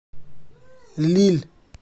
лилль